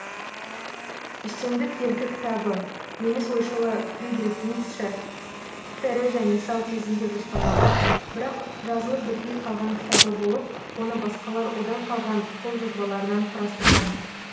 үстемдік еркі кітабы неміс ойшылы фридрих ницше тірі және сау кезінде жоспарлаған бірақ жазылып бітпей қалған кітабы болып оны басқалар одан қалған қолжазбаларынан құрастырған